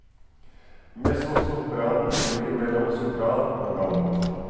Mezzosopranen ligger mellom sopran og alt.